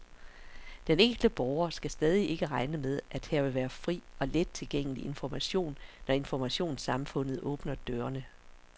Den enkelte borger skal stadig ikke regne med, at her vil være fri og let tilgængelig information, når informationssamfundet åbner dørene.